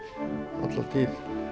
alla tíð